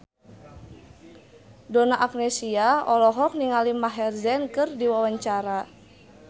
Donna Agnesia olohok ningali Maher Zein keur diwawancara